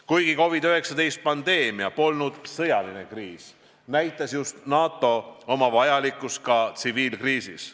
Kuigi COVID-19 pandeemia polnud sõjaline kriis, näitas NATO oma vajalikkust ka tsiviilkriisis.